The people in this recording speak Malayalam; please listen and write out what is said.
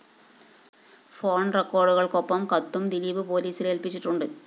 ഫോൺ റെക്കോഡുകള്‍ക്കൊപ്പം കത്തും ദിലീപ് പോലീസില്‍ ഏല്പ്പിച്ചിട്ടുണ്ട്